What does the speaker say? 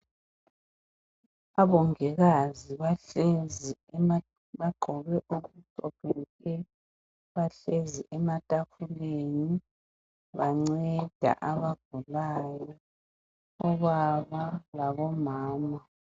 Omongikazi bahlezi bagqoke okumhlophe nke, bahlezi ematafuleni banceda abagulayo, obaba labomama.